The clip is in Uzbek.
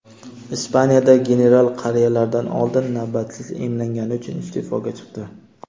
Ispaniyada general qariyalardan oldin navbatsiz emlangani uchun iste’foga chiqdi.